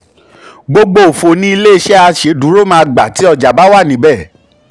gbogbo òfò ni ilé-iṣẹ́ aṣèdúró máa gba tí ọjà bá wà níbẹ.